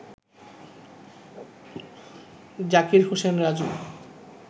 Zakir Hossain Raju